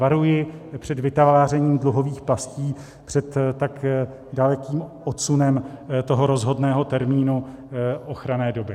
Varuji před vytvářením dluhových pastí, před tak dalekým odsunem toho rozhodného termínu ochranné doby.